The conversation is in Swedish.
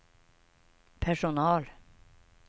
personal